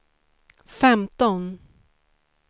femton